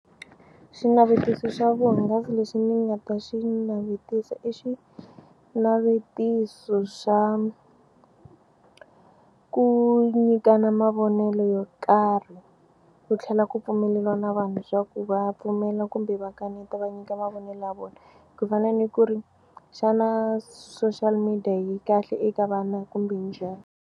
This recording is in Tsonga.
Xinavetiso xa vuhungasi lexi ni nga ta xi navetisa i xinavetiso xa ku nyikana mavonelo yo karhi ku tlhela ku pfumeleriwa na vanhu swa ku va pfumela kumbe va kaneta va nyika mavonelo ya vona ku fana ni ku ri xana social media yi kahle eka vana kumbe njhani.